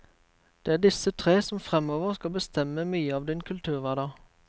Det er disse tre som fremover skal bestemme mye av din kulturhverdag.